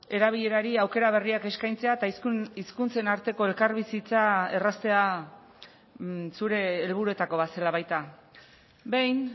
erabilerari aukera berriak eskaintzea eta hizkuntzen arteko elkarbizitza erraztea zure helburuetako bat zela baita behin